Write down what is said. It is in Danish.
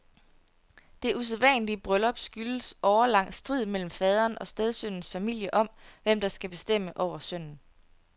Det usædvanlige bryllup skyldes årelang strid mellem faderen og stedsønnens familie om, hvem der skal bestemme over sønnen.